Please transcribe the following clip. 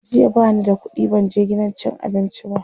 jiya bani da ƙuɗi ban je gidan cin abinci ba